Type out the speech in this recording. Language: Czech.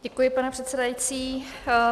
Děkuji, pane předsedající.